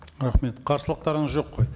рахмет қарсылықтарыңыз жоқ қой